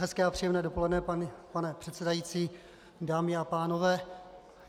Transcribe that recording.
Hezké a příjemné dopoledne, pane předsedající, dámy a pánové.